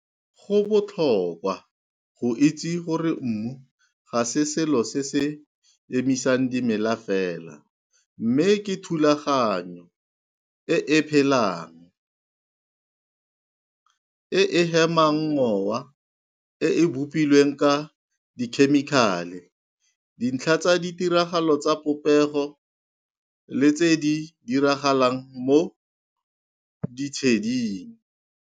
Go botlhokwa go itse gore mmu ga se selo se se emisang dimela fela, mme ke thulaganyo e e phelang, e e hemang mowa, e e bopilweng ka dikhemikale, dintlha tsa ditiragalo tsa popego le tse di diragalang mo ditsheding.